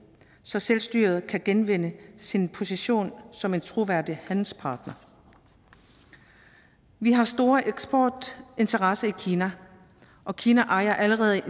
så selvstyret kan genvinde sin position som en troværdig handelspartner vi har store eksportinteresser i kina og kina ejer allerede